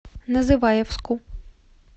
называевску